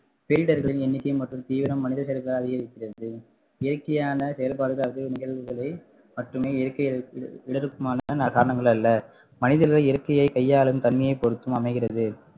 cylinder களின் எண்ணிக்கை மற்றும் தீவிரம் மனிதர்களுக்கு அதிகரிக்கிறது இயற்கையான செயல்பாடுகள் அது நிகழ்வுகளை மட்டுமே இயற்கை மான காரணங்கள் அல்ல மனிதர்கள் இயற்கையை கையாளும் தன்மையை பொருத்தும் அமைகிறது